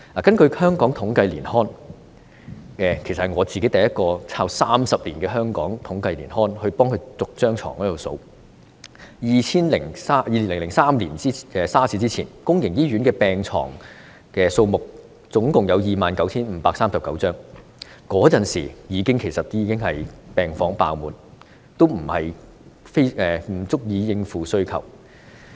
根據香港統計年刊——其實我是第一個翻查30年來香港統計年刊的人，逐年翻查床位的數目 ——2003 年 SARS 之前，公營醫院的病床數目共有 29,539 張，當時病房已經爆滿，不足以應付需求。